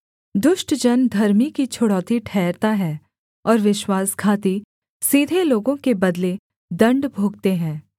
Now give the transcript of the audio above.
दुष्ट जन धर्मी की छुड़ौती ठहरता है और विश्वासघाती सीधे लोगों के बदले दण्ड भोगते हैं